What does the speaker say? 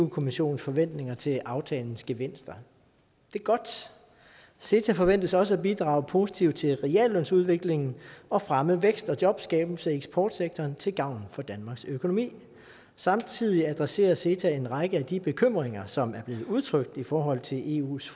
kommissionens forventninger til aftalens gevinster det er godt ceta forventes også at bidrage positivt til reallønsudviklingen og at fremme væksten og jobskabelsen i eksportsektoren til gavn for danmarks økonomi samtidig adresserer ceta en række af de bekymringer som er blevet udtrykt i forhold til eus